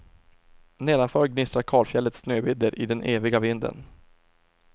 Nedanför gnistrar kalfjällets snövidder i den eviga vinden.